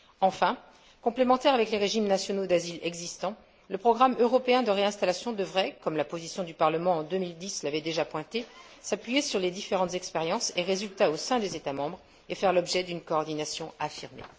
Enfin, complémentaire avec les régimes nationaux d'asile existants, le programme européen de réinstallation devrait, comme la position du Parlement en 2010 l'avait déjà mis en évidence, s'appuyer sur les différentes expériences et résultats au sein des États membres et faire l'objet d'une coordination affirmée.